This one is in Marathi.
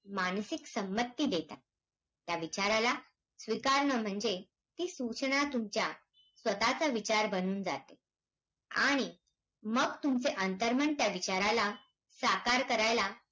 अभयारण्य यांची जवळून जाते ही एका अर्थाने पर्यटनाचा विकासाची शेती माल्याची वेगणा.